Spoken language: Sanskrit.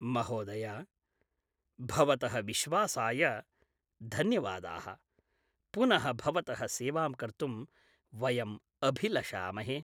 महोदय, भवतः विश्वासाय धन्यवादाः । पुनः भवतः सेवां कर्तुं वयं अभिलषामहे ।